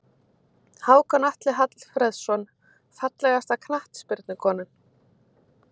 Hákon Atli Hallfreðsson Fallegasta knattspyrnukonan?